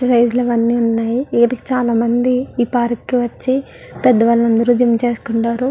Exercise లు అవన్నీ ఉన్నాయ్ వీటికి చాలామంది ఈ పార్క్ కి వచ్చి పెద్దవాళ్ళందరు జిమ్ చేసుకుంటారు.